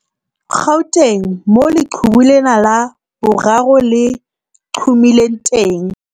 Gauteng, moo leqhubu lena la boraro le qhomileng teng.